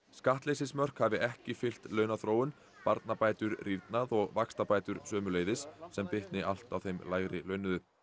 skattleysismörk hafi ekki fylgt launaþróun barnabætur rýrnað og vaxtabætur sömuleiðis sem bitni allt á þeim lægri launuðu